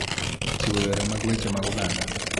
Chiwo yore mag weche mag oganda